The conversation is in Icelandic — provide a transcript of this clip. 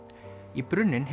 í brunninn